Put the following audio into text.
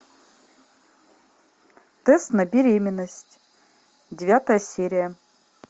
тест на беременность девятая серия